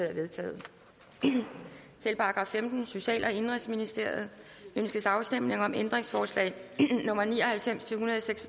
er vedtaget til § femtende social og indenrigsministeriet ønskes afstemning om ændringsforslag nummer ni og halvfems til tolv seks